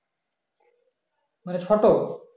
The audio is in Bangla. মানে ছোট